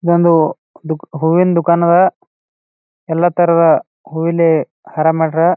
ಒಂದು ದು ಹೂವಿಂದು ದುಕಾನ್ ಅದ. ಎಲ್ಲ ತರದ ಹೂವಲ್ಲಿ ಹಾರಾ ಮಾಡಾರ.